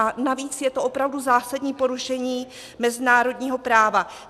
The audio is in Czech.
A navíc je to opravdu zásadní porušení mezinárodního práva.